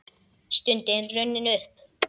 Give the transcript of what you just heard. Stundin runnin upp!